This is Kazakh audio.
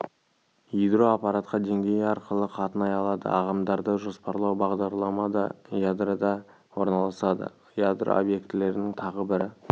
ядро аппаратқа деңгейі арқылы қатынай алады ағымдарды жоспарлау бағдарлама да ядрода орналасады ядро объектілерінің тағы бір